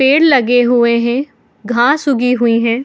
पेड़ लगे हुए है घास उगी हुई है।